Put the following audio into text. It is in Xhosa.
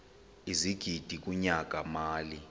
ezigidi kunyaka mali